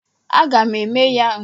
Aga m eme ya mgbe onye ọ bụla nọ ebe a.